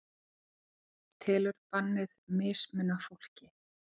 Telur bannið mismuna fólki